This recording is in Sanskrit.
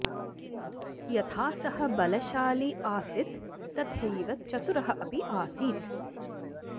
यथा सः बलशाली आसित् तथैव चतुरः अपि आसीत्